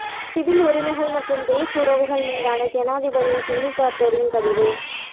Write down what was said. civil உரிமைகள் மற்றும் race உறவுகள் மீதான ஜனாதிபதி ஜிம்மி கார்ட்டரின் பதிவு